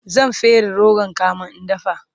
zan fere rogon kamin in dafa